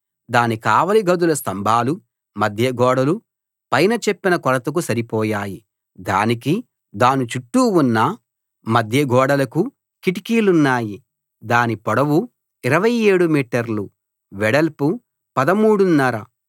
దాని కావలి గదుల స్తంభాలు మధ్య గోడలు పైన చెప్పిన కొలతకు సరిపోయాయి దానికీ దాని చుట్టూ ఉన్న మధ్యగోడలకూ కిటికీలున్నాయి దాని పొడవు 27 మీటర్లు వెడల్పు పదమూడున్నర